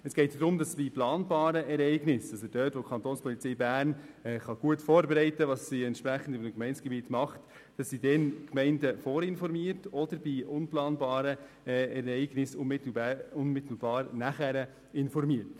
Es geht darum, dass die Kapo Bern die Gemeinden über die planbaren Ereignisse, auf die sich gut vorbereiten kann, vorinformiert und sie bei nicht planbaren Ereignissen unmittelbar danach informiert.